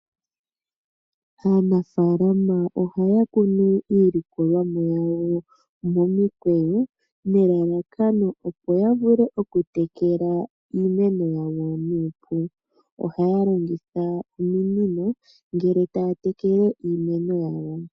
Aanafaalama ohaa kunu iikunomwa yawo momikweyo, nelalakano opo ya vule okutekela iimeno yawo nuupu. Ohaya longitha ominino ngele taa tekele iimeno yawo.